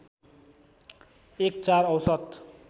एक ४ औसत